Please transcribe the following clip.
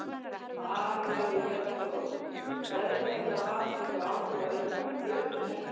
María Lilja Þrastardóttir: Veðrið, hefur það haft einhver áhrif á ykkar plön um helgina?